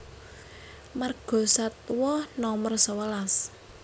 Margasatwa Nomer sewelas